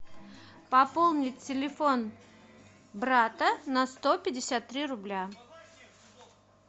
пополнить телефон брата на сто пятьдесят три рубля